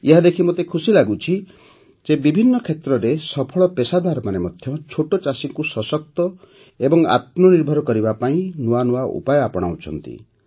ଏହାଦେଖି ମୋତେ ଖୁସି ଲାଗୁଛି ଯେ ବିଭିନ୍ନ କ୍ଷେତ୍ରରେ ସଫଳ ପେସାଦାରମାନେ ଛୋଟ ଚାଷୀଙ୍କୁ ସଶକ୍ତ ଓ ଆତ୍ମନିର୍ଭର କରିବା ପାଇଁ ନୂଆନୂଆ ଉପାୟ ଆପଣାଉଛନ୍ତି